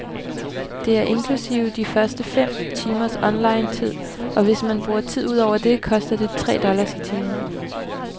Det er inklusive de første fem timers online-tid, og hvis man bruger tid ud over det, koster det tre dollars i timen.